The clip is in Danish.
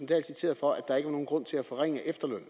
dahl citeret for at der ikke var nogen grund til at forringe efterlønnen